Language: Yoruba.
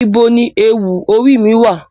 Where is my headgear